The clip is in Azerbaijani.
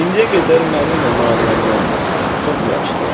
İndiyə qədər mənimlə maraqlanmanız çox yaxşıdır.